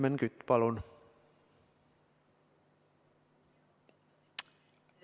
Helmen Kütt, palun!